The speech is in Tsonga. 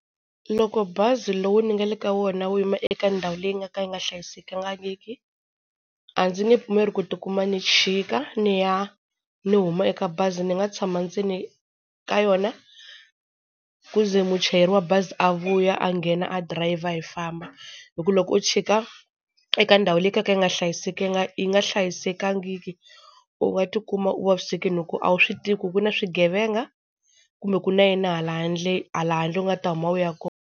Loko bazi lowu ni nga le ka wona wu yima eka ndhawu leyi nga ka yi nga hlayisekangiki, a ndzi nge pfumeli ku tikuma ni chika ni ya ni huma eka bazi ni nga tshama ndzeni ka yona ku ze muchayeri wa bazi a vuya a nghena a dirayiva hi famba. Hi ku loko u chika eka ndhawu leyi kalaka yi nga hlayisekanga yi nga hlayisekangiki, u nga tikuma u vavisekile hi ku a wu swi tivi ku ku na swigevenga kumbe ku na yini hala handle hala handle u nga ta huma u ya kona.